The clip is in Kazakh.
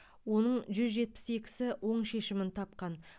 оның жүзжетпіс екісі оң шешімін тапқан